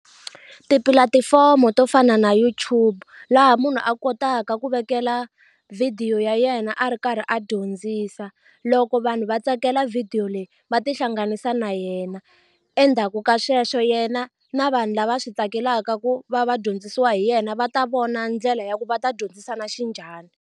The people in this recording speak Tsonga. Tipulatifomo to fana na YouTube laha munhu a kotaka ku vekela video ya yena a ri karhi a dyondzisa loko vanhu va tsakela video leyi va tihlanganisa na yena endzhaku ka sweswo yena na vanhu lava swi tsakelaka ku va va dyondzisiwa hi yena va ta vona ndlela ya ku va ta dyondzisa na xinjhani.